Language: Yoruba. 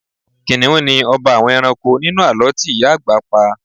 kìnnìún ni ọba àwọn ẹranko nínú àlọ́ tí ìyá àgbà pa